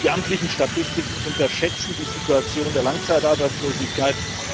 Die amtlichen Statistiken unterschätzen die Situation der Langzeitarbeitslosigkeit.